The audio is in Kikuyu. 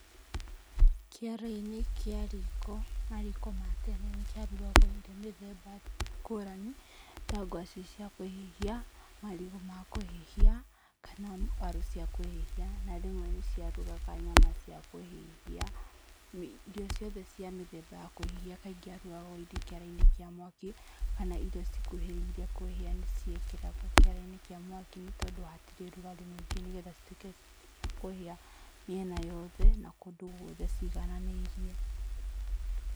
Kĩaro-inĩ kĩa riko, mariko ma tene nĩ kwarugagwo irio mĩthemba ngũrani, ta ngwacĩ cia kũhĩhia, marigũ ma kũhĩhia, kana waru cia kũhĩhia. Na rĩmwe nĩ ciarugaga nyama cia kũhĩhia. Irio ciothe cia mĩthemba ya kũhĩhia kaingĩ ciarugagwo kĩara-inĩ kĩa mwaki, kana irio cikuhĩrĩirie kũhĩa nĩ ciekĩragwo kĩaro-inĩ kĩa mwaki nĩ tondũ wa hatirĩ rugarĩ mũingĩ nĩgetha cituĩke cia kũhĩa mĩena yothe na kũndũ guothe cĩgananĩirie.